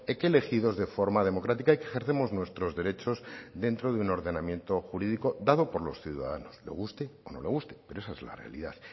que elegidos de forma democrática y que ejercemos nuestros derechos dentro de un ordenamiento jurídico dado por los ciudadanos le guste o no le guste pero esa es la realidad